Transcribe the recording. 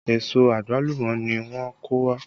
Èso àgbálùmọ́ ni wọ́n kó wá